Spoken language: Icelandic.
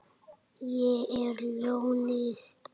Ég er ljónið.